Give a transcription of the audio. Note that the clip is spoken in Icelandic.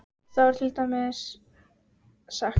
Þá er til dæmis sagt